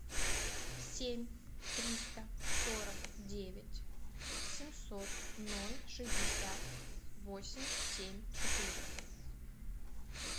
семь триста сорок девять семьсот ноль шестьдесят восемь семь четыре